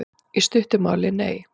Í stuttu máli: Nei.